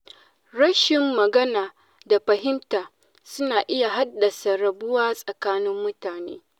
Rashin magana da fahimta, suna iya haddasa rabuwa tsakanin mutane.